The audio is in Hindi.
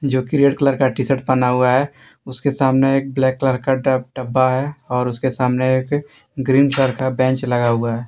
जोकि रेड कलर का टी शर्ट पहना हुआ है उसके सामने एक ब्लैक कलर का ड डब्बा है और उसके सामने एक ग्रीन कलर का बेंच लगा हुआ है।